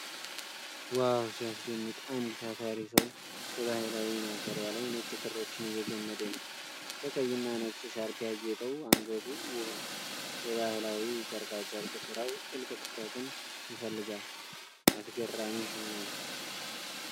ዋው፣ ሲያስደንቅ! አንድ ታታሪ ሰው በባህላዊ ማሰሪያ ላይ ነጭ ክሮችን እየገመደ ነው። በቀይ እና ነጭ ሻርፕ ያጌጠው አንገቱ ውብ ነው። የባህላዊ ጨርቃጨርቅ ስራው ጥልቅ ትኩረትን ይፈልጋል። አስገራሚ ሽመና!!!!!